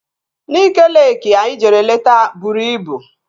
Nike Leeki anyị jere leta bụrụ ibu